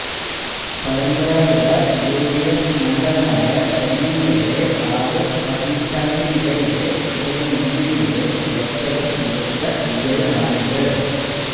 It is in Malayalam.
പരമ്പരാഗത യു ഡി എഫ് മണ്ഡലമായ ചെങ്ങന്നൂരിലെ ആറ് പതിറ്റാണ്ടിനിടയിലെ ഇടതു മുന്നണിയുടെ ഏറ്റവും മികച്ച വിജയമാണിത്